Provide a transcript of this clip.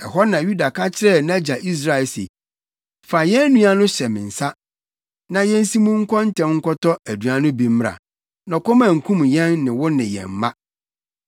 Ɛhɔ na Yuda ka kyerɛɛ nʼagya Israel se, “Fa yɛn nua no hyɛ me nsa, na yensi mu nkɔ ntɛm nkɔtɔ aduan no bi mmra, na ɔkɔm ankum yɛn ne wo ne yɛn mma.